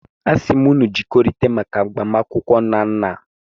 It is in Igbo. Asim unu ka unu jikere maka agbamakwụkwọ Nnanna.